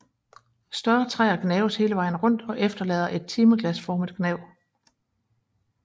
Større træer gnaves hele vejen rundt og efterlader et timeglasformet gnav